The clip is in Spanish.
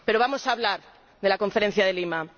Pero vamos a hablar de la Conferencia de Lima.